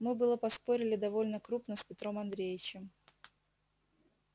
мы было поспорили довольно крупно с петром андреичем